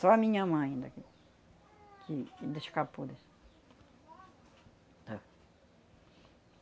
Só a minha mãe daqui que ainda escapou disso,